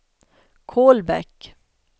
Kolbäck